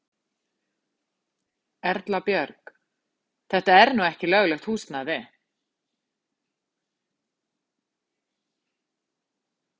Erla Björg: Þetta er nú ekki löglegt húsnæði?